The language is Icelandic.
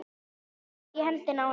Andri hélt í hendina á henni.